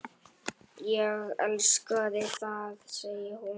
Ég elska það, segir hún.